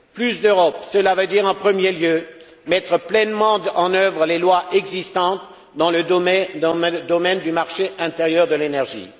Plus d'Europe, cela veut dire, en premier lieu, mettre pleinement en œuvre les lois existantes dans le domaine du marché intérieur de l'énergie.